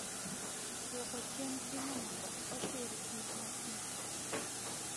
dwoko chien sinema ok osir gi masin mari